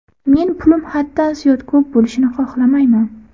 Men pulim haddan ziyod ko‘p bo‘lishini xohlamayman.